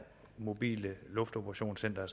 mobile luftoperationscenter